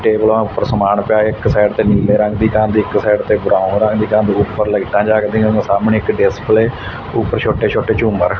ਟੇਬਲਾਂ ਉਪਰ ਸਮਾਨ ਪਿਆ ਹੈ ਇੱਕ ਸਾਈਡ ਤੇ ਨੀਲੇ ਰੰਗ ਦੀ ਕੰਧ ਇੱਕ ਸਾਈਡ ਤੇ ਬਰਾਊਨ ਰੰਗ ਦੀ ਕੰਧ ਉਪਰ ਲਾਈਟਾਂ ਜੱਗਦੀਆਂ ਨੇਂ ਸਾਹਮਣੇ ਇੱਕ ਡਿਸਪਲੇ ਊਪਰ ਛੋਟੇ ਛੋਟੇ ਝੂੰਮਰ।